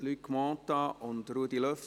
Grossrat Mentha und Grossrat